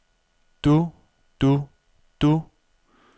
du du du